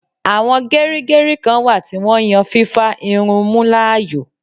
Àwọn gerigeri kán wà tí wón yàn fífà irun mú láàyò